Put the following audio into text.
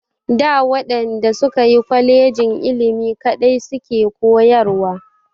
Da waɗanda suka yi kolejin ilimi kaɗai su ke koyarwa.